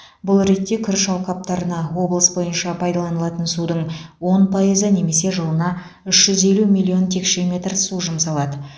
бұл ретте күріш алқаптарына облыс бойынша пайдаланылатын судың он пайызы немесе жылына үш жүз елу миллион текше метр су жұмсалады